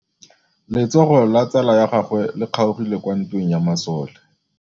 Letsôgô la tsala ya gagwe le kgaogile kwa ntweng ya masole.